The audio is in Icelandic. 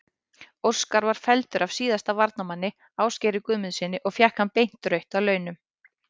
Óskar var felldur af síðasta varnarmanni, Ásgeiri Guðmundssyni og fékk hann beint rautt að launum.